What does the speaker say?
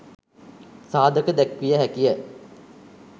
සාධක දැක්විය හැකි ය.